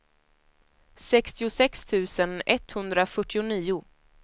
sextiosex tusen etthundrafyrtionio